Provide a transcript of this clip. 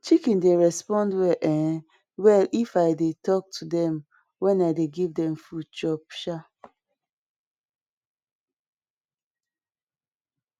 chicken dey respond well um well if i dey talk to dem wen i dey give dem food chop um